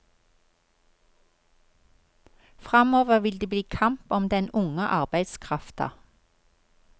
Framover vil det bli kamp om den unge arbeidskrafta.